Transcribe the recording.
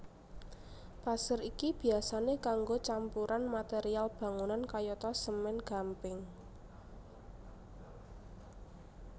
Pasir iki biyasané kanggo campuran material bangunan kayata semèn gamping